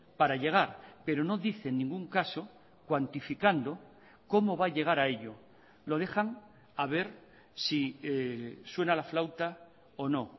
para llegar pero no dice en ningún caso cuantificando cómo va a llegar a ello lo dejan a ver si suena la flauta o no